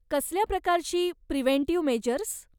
कसल्या प्रकारची preventive measures?